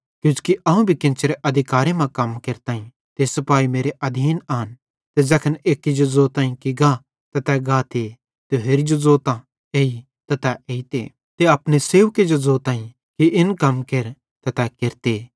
किजोकि अवं भी केन्चेरे अधिकारे मां कम केरताईं ते सिपाही मेरे आधीन आन ते ज़ैखन एक्की जो ज़ोताईं कि गा त तै गाते ते होरि जो ज़ोतां एई त तै एइते ते अपने सेवके जो ज़ोताईं इन कम केर त तै केरते